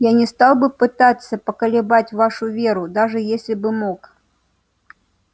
я не стал бы пытаться поколебать вашу веру даже если бы мог